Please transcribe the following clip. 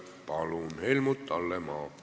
Palun, Helmut Hallemaa!